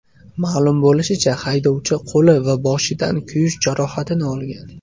Ma’lum bo‘lishicha, haydovchi qo‘li va boshidan kuyish jarohatini olgan.